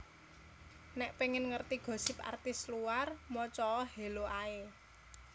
Nek pengen ngerti gosip artis luar moco o Hello ae